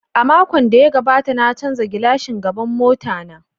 A makon da ya gabata na canza glashin gaban mota na.